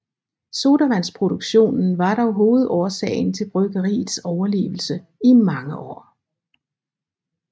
Sodavandsproduktionen var dog hovedårsagen til bryggeriets overlevelse i mange år